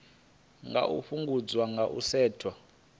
nga fhungudzwa nga u setsha